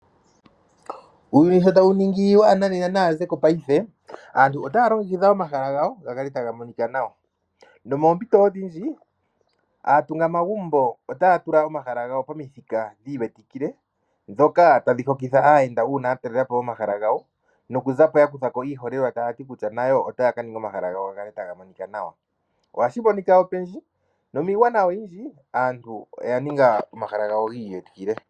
Uuyuni shotawuningi waa nanena naazeko paife, aantu otaya longekidha omahala gawo gakale tagamonika nawa, nomoompito odhindji aatunga magumbo otayatula omahala gawo pomithika dhiiwetikile dhoka tadhi hokitha aayenda uuna yatalelapo omahala gawo nokuzako yakuthako iiholelwa tayati kutya nayo otayakaninga omahala gawo gakale taga monika nawa, ohashimonika opendji nomiigwana oyindji aantu oyaninga omahala gawo giiwetikile.